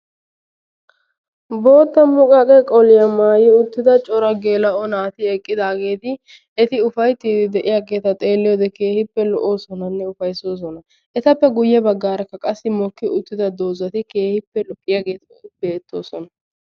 bootta muqqaqqe ha asati cadiidi de'iyo koyro tokketidaagee de'iyo koyro keehippe lo'iyaageeta.